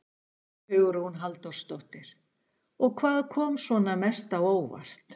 Hugrún Halldórsdóttir: Og hvað kom svona mest á óvart?